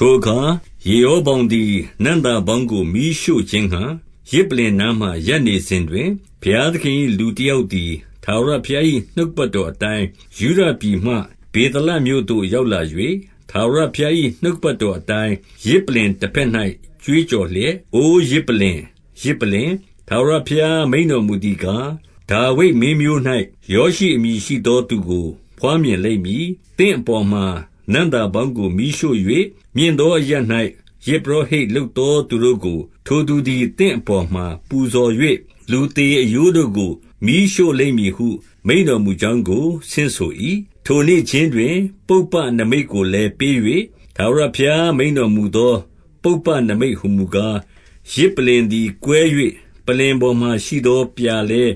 ထိုအခါ ယေရောဗောင်သည် နံ့သာပေါင်းကို မီးရှို့ခြင်းငှါ ယဇ်ပလ္လင်နားမှာရပ်နေစဉ်တွင်၊ ဘုရား သခင်၏ လူတယောက်သည် ထာဝရဘုရား၏ နှုတ်ကပတ်တော်အတိုင်း၊ ယုဒပြည်မှ ဗေသလမြို့သို့ ရောက် လာ၍၊ 2 ထာဝရဘုရား၏ နှုတ်ကပတ်တော်အတိုင်း ယဇ်ပလ္လင်တဘက်၌ ကြွေးကြော်လျက်၊ အိုယဇ်ပလ္လင်၊ ယဇ်ပလ္လင်၊ ထာဝရဘုရားမိန့်တော်မူသည်ကား၊ ဒါဝိဒ်မင်း မျိုး၌ ယောရှိအမည်ရှိသော သူကို ဘွားမြင်လိမ့်မည်။ သင့်အပေါ်မှာ နံ့သာပေါင်းကို မီးရှို့၍၊ မြင့်သောအရပ်၌ ယဇ်ပုရောဟိတ်လုပ်သောသူတို့ကို ထိုသူသည် သင့် အပေါ်မှာပူဇော်၍၊ လူသေအရိုးတို့ကို မီးရှို့လိမ့်မည်ဟု မိန့်တော်မူကြောင်းကို ဆင့်ဆို၏။ 3 ထိုနေ့ခြင်းတွင် ပုပ္ပနိမိတ်ကိုလည်း ပေး၍ ထာဝရဘုရားမိန့်တော်မူသော ပုပ္ပနိမိတ်ဟူမူကား၊ ယဇ် ပလ္လင်သည် ကွဲ၍ပလ္လင်ပေါ်မှာရှိသော ပြာလည်း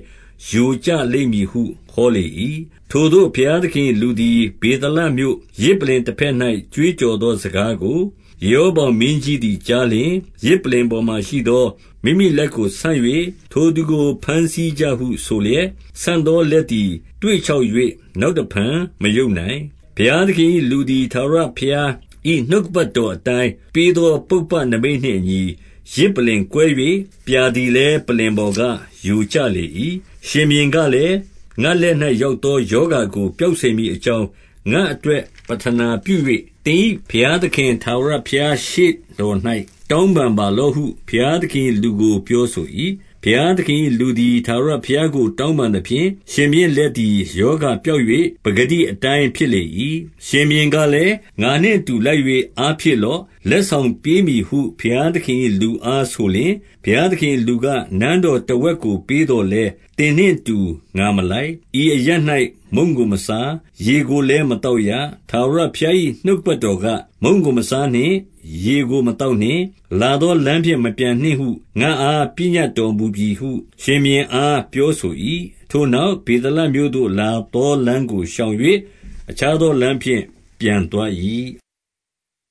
ယိုကျလိမ့်မည်ဟု ဟောလေ၏။ 4 ထိုသို့ ဘုရားသခင်၏ လူသည် ဗေသလမြို့ ယဇ်ပလ္လင်တဘက်၌ ကြွေးကြော်သော စကားကို ယေရောဗောင်မင်းကြီးသည် ကြားလျှင်၊ ယဇ်ပလ္လင်ပေါ်မှာရှိသော မိမိလက်ကိုဆန့်၍ ထိုသူကို ဘမ်းဆီးကြဟုဆို လျက်၊ ဆန့်သောလက်သည် သွေ့ခြောက်၍ နောက်တဖန် မရုပ်နိုင်။ 5 ဘုရားသခင်၏ လူသည်ထာဝရဘုရား၏ နှုတ်ကပတ်တော်အတိုင်း ပေးသောပုပ္ပနိမိတ်နှင့်အညီ ယဇ် ပလ္လင်ကွဲ၍၊ ပြာသည်လည်း ပလ္လင်ပေါ်က ယိုကျလေ၏။ 6 ရှင်ဘုရင်ကလည်း၊ ငါ့လက်၌ ရောက်သောရောဂါကို ပျောက်စေမည်အကြောင်း၊ ငါ့အတွက် ပဌနာ ပြု၍ သင်၏ဘုရားသခင် ထာဝရဘုရားရှေ့တော်၌ တောင်းပန်ပါလော့ဟုဘုရားသခင်၏ လူကိုပြောဆို၏။ ဘုရားသခင်၏လူသည် ထာဝရဘုရားကို တောင်းပန်သဖြင့်၊ ရှင်ဘုရင်လက်သည် ရောဂါပျောက်၍ ပကတိ အတိုင်း ဖြစ်လေ၏။ 7 ရှင်ဘုရင်ကလည်း၊ ငါနှင့်အတူ လိုက်၍ အားဖြည့်လော့။ လက်ဆောင်ပေးမည်ဟု ဘုရားသခင်၏ လူအား ဆိုလျှင်၊ 8 ဘုရားသခင်၏လူက၊ နန်းတော်တဝက်ကို ပေးသော်လည်း သင်နှင့်အတူ ငါမလိုက်။ ဤအရပ်၌ မုန့်ကိုမစား၊ ရေကိုလည်းမသောက်ရ။ 9 ထာဝရဘုရား၏ နှုတ်ကပတ်တော်က၊ မုန့်ကို မစားနှင့်။ ရေကို မသောက်နှင့်။ လာသောလမ်းဖြင့် မပြန်နှင့်ဟု ငါ့အား ပညတ်တော်မူပြီဟု ရှင်ဘုရင်အား ပြောဆို၏။ 10 ထိုနောက် ဗေသလမြို့သို့ လာသောလမ်းကို ရှောင်၍ အခြားသောလမ်းဖြင့် ပြန်သွား၏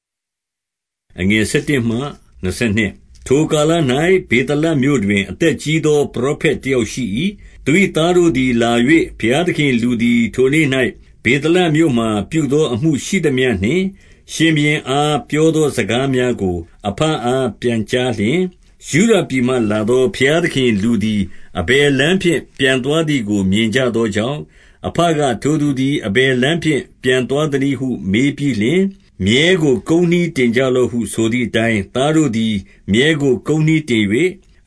။ 11 ထိုကာလ၌ ဗေသလမြို့တွင် အသက်ကြီးသော ပရောဖက် တယောက်ရှိ၏။ သူ၏သားတို့သည်လာ၍ ဘုရားသခင်၏လူသည် ထိုနေ့၌ ဗေသလမြို့မှာ ပြုသောအမှုရှိသမျှနှင့် ရှင်ဘုရင်အားပြောသော စကားများကို အဘအား ပြန်ကြားလျှင်၊ 12 ယုဒပြည်မှ လာသောဘုရားသခင်၏ လူသည် အဘယ်လမ်းဖြင့် ပြန်သွားသည်ကို မြင်ကြသောကြောင့်၊ အဘက ထိုသူသည် အဘယ်လမ်း ဖြင့်ပြန်သွားသနည်းဟု မေးပြီးလျှင်၊ 13 မြည်းကို ကုန်းနှီးတင်ကြလော့ဟု ဆိုသည် အတိုင်း၊ သားတို့သည် မြည်းကိုကုန်းနှီးတင်၍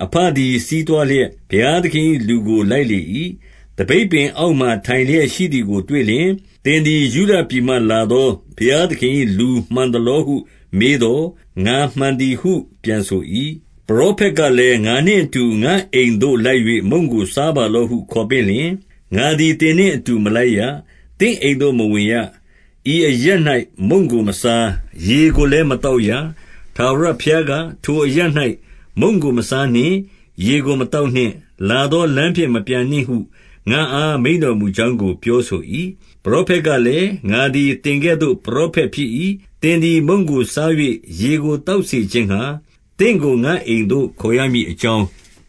အဘသည် စီးသွားလျက်၊ 14 ဘုရားသခင်၏ လူကိုလိုက်လေ၏။ သပိတ်ပင် အောက်မှာထိုင်လျက် ရှိသည်ကိုတွေ့လျင်၊ သင်သည် ယုဒပြည်မှလာသော ဘုရားသခင်၏ လူမှန်သလောဟု မေးသော်၊ ငါမှန်သည်ဟု ပြန်ဆို၏။ 15 ပရောဖက်ကလည်း၊ ငါနှင့်အတူ ငါ့အိမ်သို့ လိုက်၍ မုန့်ကို စားပါလော့ဟု ခေါ်ပင့်လျှင်၊ 16 ငါသည် သင်နှင့်အတူ မလိုက်ရ၊ သင့်အိမ်သို့မဝင်ရ။ ဤအရပ်၌ မုန့်ကိုမစား၊ ရေကိုလည်း မသောက်ရ။ 17 ထာဝရဘုရားက၊ ထိုအရပ်၌ မုန့်ကိုမစားနှင့်။ ရေကိုမသောက်နှင့်။ လာသောလမ်းဖြင့်မပြန်နှင့်ဟု ငါ့အား မိန့်တော်မူကြောင်းကို ပြောဆို၏။ 18 ပရောဖက်ကလည်း၊ ငါသည် သင်ကဲ့သို့ ပရောဖက်ဖြစ်၏။ သင်သည်မုန့်ကိုစား၍ ရေကိုသောက်စေ ခြင်းငှါ သင့်ကိုငါ့အိမ်သို့ ခေါ်ရမည်အကြောင်း၊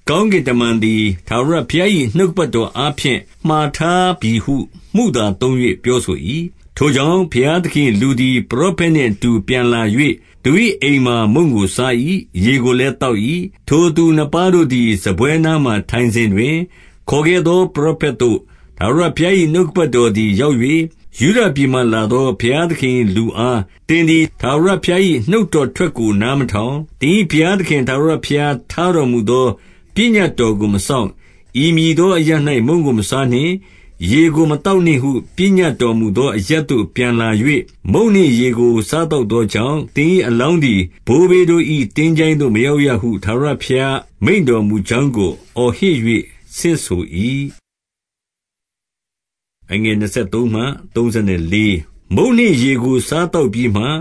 ကောင်းကင်တမန်သည် ထာဝရဘုရား၏ နှုတ်ကပတ်တော် အားဖြင့် မှာထားပြီဟု မုသာသုံး၍ ပြောဆို၏။ 19 ထိုကြောင့် ဘုရားသခင်၏လူသည် ပရောဖက် နှင့်အတူ ပြန်လာ၍၊ သူ၏အိမ်မှာ မုန့်ကိုစား၏။ ရေကို လည်း သောက်၏။ 20 ထိုသူနှစ်ပါးတို့သည် စားပွဲနားမှာ ထိုင်စဉ်တွင်၊ ခေါ်ခဲ့သော ပရောဖက်သို့ ထာဝရဘုရား၏ နှုတ်ကပတ် တော်သည် ရောက်၍၊ 21 ယုဒပြည်မှ လာသောဘုရားသခင်၏လူအား၊ သင်သည် ထာဝရဘုရား၏နှုတ်တော်ထွက်ကို နား မထောင်၊ သင်၏ဘုရားသခင် ထာဝရဘုရားထားတော်မူ သော ပညတ်တော်ကို မစောင့်၊ 22 ဤမည်သော အရပ်၌ မုန့်ကိုမစားနှင့်။ ရေကို မသောက်နှင့်ဟု ပညတ်တော်မူသော အရပ်သို့ပြန်လာ၍ မုန့်နှင့်ရေကိုစားသောက်သောကြောင့်၊ သင်၏အလောင်းသည် ဘိုးဘေးတို့၏ သင်္ချိုင်းသို့မရောက်ရဟု ထာဝရ ဘုရားမိန့်တော်မူကြောင်းကို အော်ဟစ်၍ ဆင့်ဆို၏။ 23 မုန့်နှင့်ရေကို စားသောက်ပြီးမှ၊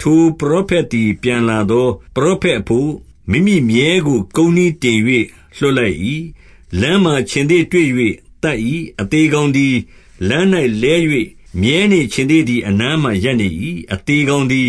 ထိုပရောဖက်သည် ပြန်လာသော ပရောဖက်အဘို့ မိမိမြည်းကို ကုန်းနှီး တင်၍ လွှတ်လိုက်လေ၏။ 24 လမ်းမှာခြင်္သေ့တွေ့၍ သတ်၏။ အသေကောင်သည် လမ်း၌ လဲ၍၊ မြည်းနှင့်ခြင်္သေ့သည် အနားမှာ ရပ်နေ၏။ 25 အသေကောင်သည်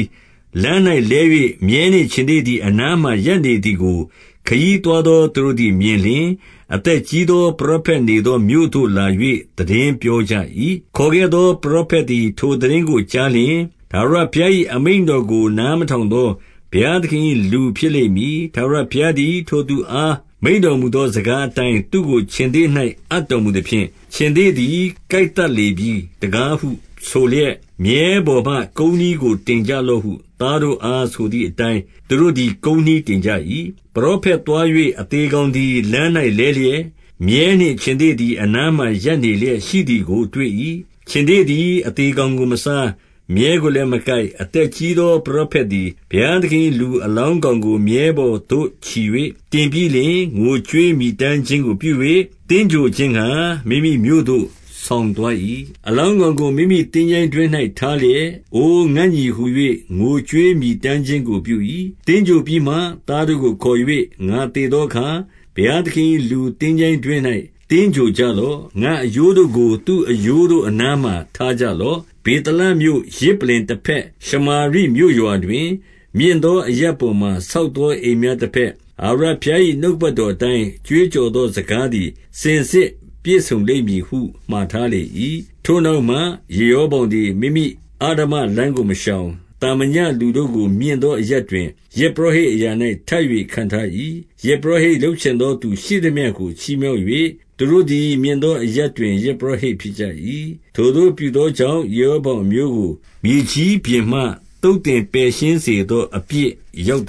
လမ်း၌လဲ၍ မည်းနှင့်ခြင်္သေ့သည် အနားမှာ ရပ်နေသည်ကို ခရီးသွားသော သူတို့သည် မြင်လျှင်၊ အသက်ကြီးသော ပရောဖက်နေသော မြို့သို့လာ၍ သိတင်းပြောကြ၏။ 26 ခေါ်ခဲ့သောပရောဖက်သည် ထိုသိတင်းကိုကြားလျှင်၊ ထာဝရဘုရား၏ အမိန့်တော်ကို နားမထောင်သော ဘုရားသခင်၏ လူဖြစ်လိမ့်မည်။ ထာဝရဘုရားသည် ထိုသူအား မိန့်တော်မူသော စကားအတိုင်း၊ သူ့ကိုခြင်္သေ့၌ အပ်တော်မူသဖြင့်၊ ခြင်္သေ့သည် ကိုက်သတ်လေပြီတကား ဟု ဆိုလျက်၊ 27 မြည်းပေါ်မှာ ကုန်းနှီးကို တင်ကြလော့ဟု သားတို့အား ဆိုသည်အတိုင်း သူတို့သည် ကုန်းနှီးတင်ကြ၏။ 28 ပရောဖက်သွား၍ အသေကောင်သည် လမ်း၌ လဲလျက်၊ မြည်းနှင့် ခြင်္သေ့သည် အနားမှာ ရပ်နေလျက် ရှိသည်ကိုတွေ့၏။ ခြင်္သေ့သည် အသေကောင်ကိုမစား၊ မြည်းကိုလည်း မကိုက်။ 29 အသက်ကြီးသော ပရောဖက်သည် ဘုရားသခင်၏လူအလောင်းကောင်ကို မြည်းပေါ်သို့ ချီ၍ တင်ပြီးလျှင် ငိုကြွေးမြည်တမ်းခြင်းကို ပြု၍၊ သင်္ဂြိုဟ်ခြင်း ငှါ မိမိမြို့သို့ ဆောင်သွား၏။ 30 အလောင်းကောင်ကို မိမိသင်္ချိုင်းတွင်း၌ ထားလျက်၊ အိုငါ့ညီဟူ၍ ငိုကြွေးမြည်တမ်းခြင်းကို ပြု၏။ 31 သင်္ဂြိုဟ်ပြီးမှ သားတို့ကိုခေါ်၍၊ ငါသေသောအခါ ဘုရားသခင်၏ လူသင်္ချိုင်းတွင်း၌ သင်္ဂြိုဟ်ကြလော့။ ငါ့အရိုးတို့ကို သူ့အရိုးတို့အနားမှာ ထားကြလော့။ 32 ဗေသလမြို့ယဇ်ပလ္လင်တဘက်ရှမာရိမြို့ရွာတွင်၊ မြင့်သောအရပ်ပေါ်မှာ ဆောက်သောအိမ်များ တဘက်၊ ထာဝရဘုရား၏နှုတ်ကပတ်တော်အတိုင်း ကြွေးကြော်သောစကားသည် စင်စစ်ပြည့်စုံလိမ့်မည်ဟု မှာထားလေ၏။ 33 ထိုနောက်မှ ယေရောဗောင်သည် မိမိအဓမ္မလမ်းကို မရှောင်။ သာမညလူတို့ကို မြင့်သောအရပ်တွင် ယဇ်ပုရောဟိတ်အရာ၌ ထပ်၍ ခန့်ထား၏။ ယဇ်ပုရောဟိတ်လုပ်ချင်သောသူ ရှိသမျှကို ချီးမြှောက်သဖြင့်၊ သူတို့သည် မြင့်သောအရပ်တွင် ယဇ်ပုရောဟိတ် ဖြစ်ကြ၏။ 34 ထိုသို့ပြုသောကြောင့် ယေရောဗောင်အမျိုးကို မြေကြီးပြင်မှ သုတ်သင်ပယ်ရှင်းစေသော အပြစ်ရောက်